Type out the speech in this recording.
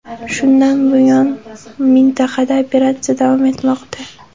Shundan buyon mintaqada operatsiya davom etmoqda.